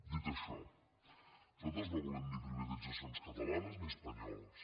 dit això nosaltres no volem ni privatitzacions catalanes ni espanyoles